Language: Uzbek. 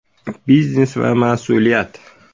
Biznes va mas’uliyat.